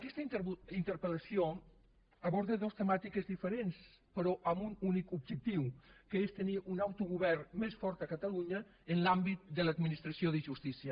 aquesta interpel·lació aborda dos temàtiques diferents però amb un únic objectiu que és tenir un autogovern més fort a catalunya en l’àmbit de l’administració de justícia